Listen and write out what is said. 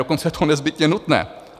Dokonce je to nezbytně nutné.